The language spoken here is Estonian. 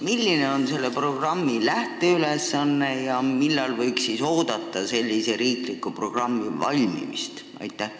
Mis on selle programmi lähteülesanne ja millal võiks see riiklik programm valmida?